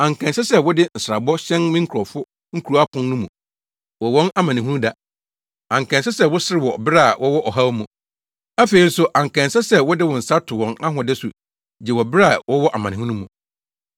Anka ɛnsɛ sɛ wode nsrabɔ hyɛn me nkurɔfo kurow apon no mu wɔ wɔn amanehunuda, anka ɛnsɛ sɛ woserew wɔ bere a wɔwɔ ɔhaw mu. Afei nso anka ɛnsɛ sɛ wode wo nsa to wɔn ahode so gye wɔ bere a wɔwɔ amanehunu mu.